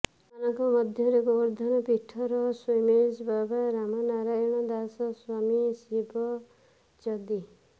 ଅନ୍ୟମାନଙ୍କ ମଧ୍ୟରେ ଗୋବର୍ଦ୍ଧନ ପୀଠର ସ୍ୱୀମୀଜୀ ବାବା ରାମ ନାରୟଣ ଦାସ ସ୍ୱାମୀ ଶିବ ଚଦି